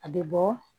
A bɛ bɔ